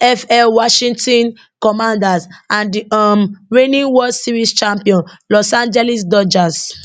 nfl washington commanders and di um reigning world series champion los angeles dodgers